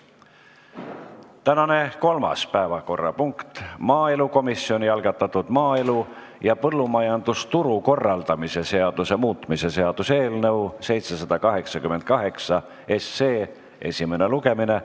Tänane kolmas päevakorrapunkt on maaelukomisjoni algatatud maaelu ja põllumajandusturu korraldamise seaduse muutmise seaduse eelnõu 788 esimene lugemine.